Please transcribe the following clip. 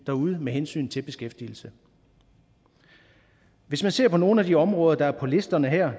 derude med hensyn til beskæftigelse hvis man ser på nogle af de områder der er på listerne her